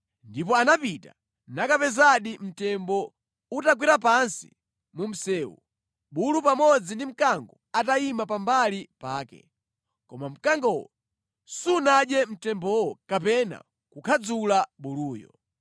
Ndipo anapita, nakapezadi mtembo utagwera pansi mu msewu, bulu pamodzi ndi mkango atayima pambali pake. Koma mkangowo sunadye mtembowo kapena kukhadzula buluyo.